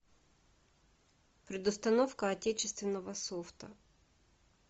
предустановка отечественного софта